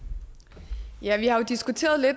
der